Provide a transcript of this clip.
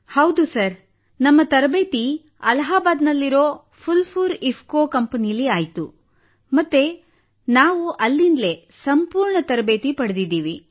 ಹೌದು ಸರ್ ನಮ್ಮ ತರಬೇತಿ ಅಲಹಾಬಾದ್ನಲ್ಲಿರುವ ಫುಲ್ಪುರ್ ಇಫ್ಕೋ ಕಂಪನಿಯಲ್ಲಿ ಆಯಿತು ಮತ್ತು ನಾವು ಅಲ್ಲಿಂದಲೇ ಸಂಪೂರ್ಣ ತರಬೇತಿ ಪಡೆದಿದ್ದೇವೆ